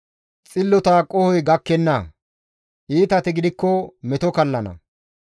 Xillota qohoy gakkenna; iitati gidikko meto kallana.